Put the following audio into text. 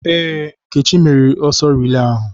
Ee, Nkechi meriri n'ọsọ rilee ahụ.